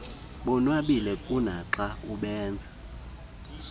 bonwabile kunaxa ubenza